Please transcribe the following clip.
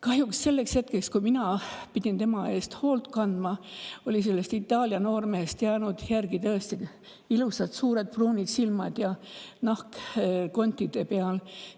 Kahjuks selleks hetkeks, kui mina pidin tema eest hoolt kandma, olid sellest Itaalia noormehest jäänud järgi tõesti vaid ilusad suured pruunid silmad ja nahk kontide peal.